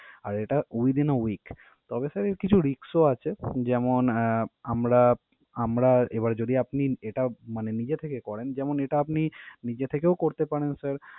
আর এটা within a week । তবে sir এর কিছু risk ও আছে, যেমন আহ আমরা আমরা এবার যদি আপনি এটা মানে নিজে থেকে করেন যেমন এটা আপনি নিজে থেকেও করতে পারেন sir